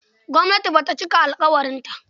Gwamnati ba ta cika alƙawarinta.